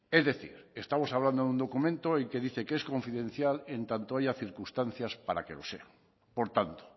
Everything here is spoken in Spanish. es decir estamos hablando de un documento y que dice que es confidencial en tanto haya circunstancias para que lo sea por tanto